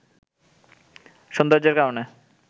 সৌন্দর্যের কারণে